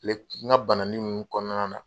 Kile, n ka banani nunnu kɔnɔna na